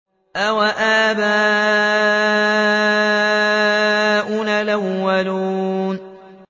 أَوَآبَاؤُنَا الْأَوَّلُونَ